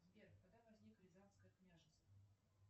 сбер когда возникло рязанское княжество